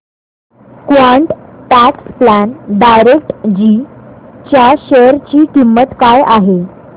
quant tax plan direct G च्या share ची किंमत काय आहे